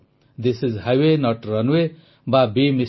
this is highway not runway ବା ବେ MR